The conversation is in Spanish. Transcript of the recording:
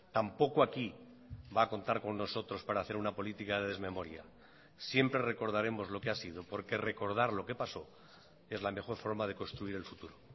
tampoco aquí va a contar con nosotros para hacer una política de desmemoria siempre recordaremos lo que ha sido porque recordar lo que pasó es la mejor forma de construir el futuro